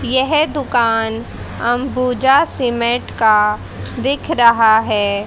येह दुकान अंबुजा सीमेंट का दिख रहा है।